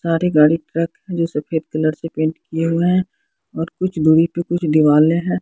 सारे गाड़ी ट्रक जो सफेद कलर से पेंट किए हुए हैं और कुछ दूरी पर कुछ दीवाले हैं।